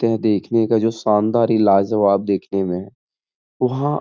है। देखने का जो शानदार इलाज है वो आप देखने में है। वहाँ --